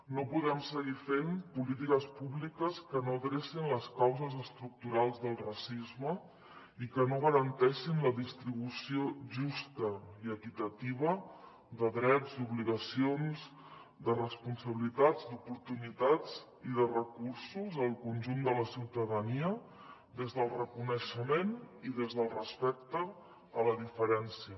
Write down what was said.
no podem seguir fent polítiques públiques que no drecin les causes estructurals del racisme i que no garanteixin la distribució justa i equitativa de drets d’obligacions de responsabilitats d’oportunitats i de recursos al conjunt de la ciutadania des del reconeixement i des del respecte a la diferència